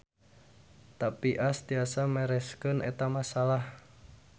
Tapi Ash tiasa mereskeun eta masalah.